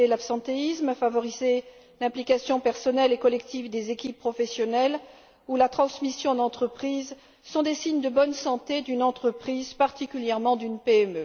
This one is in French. Limiter l'absentéisme, favoriser l'implication personnelle et collective des équipes professionnelles ou la transmission d'entreprise sont des signes de bonne santé d'une entreprise, particulièrement d'une PME.